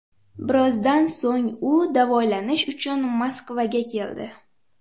Birozdan so‘ng u davolanish uchun Moskvaga keldi .